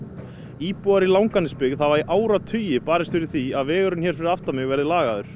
íbúar í Langanesbyggð hafa í áratugi barist fyrir því að vegurinn hér fyrir aftan mig verði lagaður